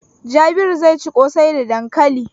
Jabiru zai ci ƙosai da dankali.